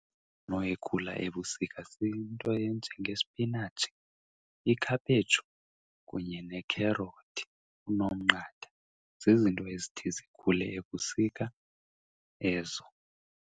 ikhula ebusika siyinto enjengespinatshi, ikhaphetshu kunye nekherothi, unomnqatha. Zizinto ezithi zikhule ebusika ezo.